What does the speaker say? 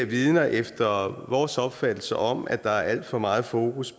vidner efter vores opfattelse om at der er alt for meget fokus